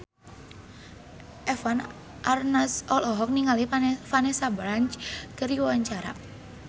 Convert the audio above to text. Eva Arnaz olohok ningali Vanessa Branch keur diwawancara